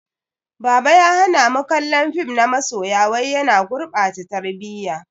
Baba ya hana mu kallon fim na masoya wai yana gurɓata tarbiyya.